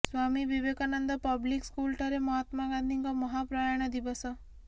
ସ୍ବାମୀ Vivekananda public school ଠାରେ ମହାତ୍ମା ଗାନ୍ଧୀଙ୍କ ମହାପ୍ରୟାଣ ଦିବସ